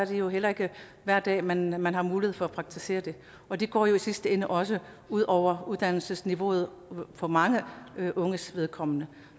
jo heller ikke hver dag man man har mulighed for at praktisere det og det går jo i sidste ende også ud over uddannelsesniveauet for mange unges vedkommende